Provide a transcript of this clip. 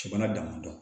Bana damadɔn